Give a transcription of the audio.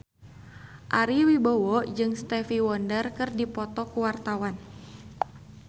Ari Wibowo jeung Stevie Wonder keur dipoto ku wartawan